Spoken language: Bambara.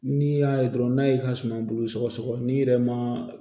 N'i y'a ye dɔrɔn n'a y'i ka suma bolo sɔgɔ n'i yɛrɛ ma